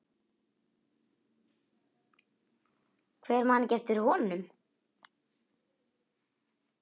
Hver man ekki eftir honum?